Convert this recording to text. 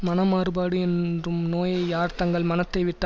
மனமாறுபாடு என்றும் நோயை யார் தங்கள் மனத்தை விட்டு